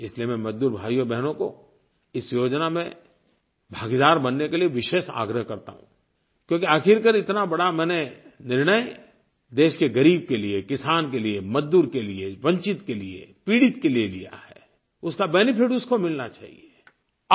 इसलिए मैं मज़दूर भाइयोंबहनों को इस योजना में भागीदार बनने के लिए विशेष आग्रह करता हूँ क्योंकि आखिरकार इतना बड़ा मैंने निर्णय देश के ग़रीब के लिये किसान के लिये मज़दूर के लिये वंचित के लिये पीड़ित के लिये लिया है उसका बेनेफिट उसको मिलना चाहिए